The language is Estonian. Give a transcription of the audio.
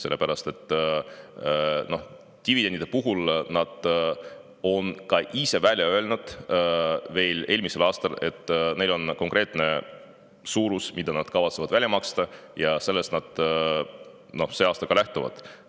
Dividendide kohta ütlesid ka ise veel eelmisel aastal, et neil on konkreetne suurus, mida nad kavatsevad välja maksta, ja sellest nad sel aastal ka lähtuvad.